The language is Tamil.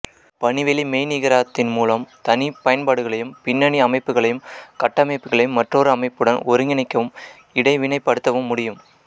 பணிவெளி மெய்நிகராக்கத்தின் முலம் தனி பயன்பாடுகளையும் பின்ணனி அமைப்புகளையும் கட்டமைப்புகளையும் மற்றொரு அமைப்புடன் ஒருங்கிணைக்கவும் இடைவினைப்படுத்தவும் முடியு